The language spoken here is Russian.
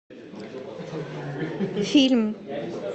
фильм